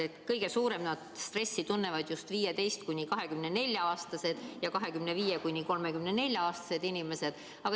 Aga kõige suuremat stressi tunnevad just 15–24-aastased ja 25–34-aastased inimesed.